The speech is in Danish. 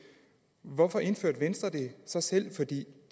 hvorfor indførte venstre det så selv for det